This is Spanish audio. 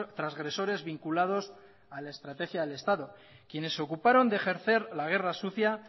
transgresores vinculados a la estrategia del estado quienes se ocuparon de ejercer la guerra sucia